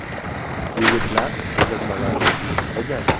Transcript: Yigitlar ko‘rsatmalarimizni bajardi.